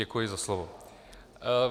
Děkuji za slovo.